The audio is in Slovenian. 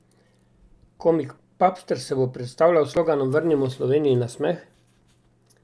Komik Papster se bo predstavljal s sloganom Vrnimo Sloveniji nasmeh!